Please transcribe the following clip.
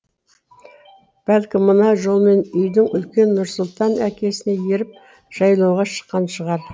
бәлкім мына жолмен үйдің үлкені нұрсұлтан әкесіне еріп жайлауға шыққан шығар